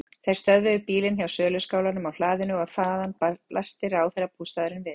Þeir stöðvuðu bílinn hjá söluskálanum á hlaðinu og þaðan blasti ráðherrabústaðurinn við.